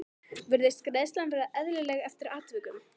Virðist greiðslan vera eðlileg eftir atvikum?